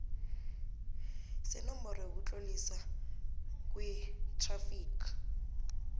senomboro yokutloliswa kwethrafigi